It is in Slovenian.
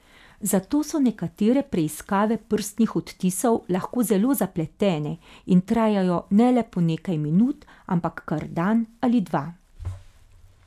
Zato so nekatere preiskave prstnih odtisov lahko zelo zapletene in trajajo ne le po nekaj minut, ampak kar dan ali dva.